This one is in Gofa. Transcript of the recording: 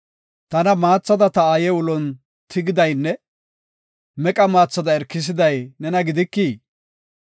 Tana maathada ta aaye ulon tigidaynne meqa maathada Irkisiday nena gidikii?